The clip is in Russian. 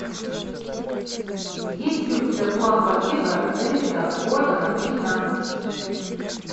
есть ли у тебя план побега дэвида гордона грина